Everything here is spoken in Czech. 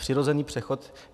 Přirozený přechod.